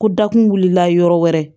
Ko dakun wulila yɔrɔ wɛrɛ